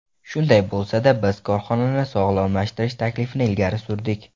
Shunday bo‘lsa-da biz korxonani sog‘lomlashtirish taklifini ilgari surdik.